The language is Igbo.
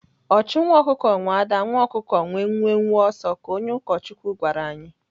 Ọchụ nwa ọkụkọ nwee ada, nwa ọkụkọ nwee mwe mwe ọsọ ka onye ụkọchukwu gwara anyị.